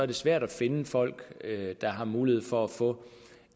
det svært at finde folk der har mulighed for at få